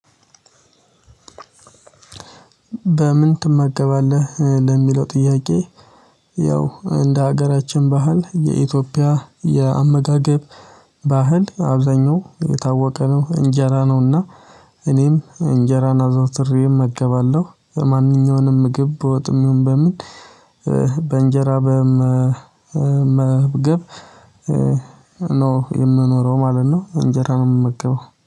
በምን ትመገባለህ ለሚለው ጥያቄ? ያው እንደ ሀገራችን ባህል የኢትዮጵያ የአመጋገብ ባህል አብዛኛው የታወቀ ነው። እንጀራ ነውና። እኔም እንጀራን አዘውትሬ እገባለሁ ማንኛውንም ምግብ በወጥም ይሁን በምን በእንጀራ በመግብ ነው የምኖረው ማለት ነው። እንጀራ ነው የምመገበው